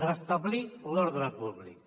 restablir l’ordre públic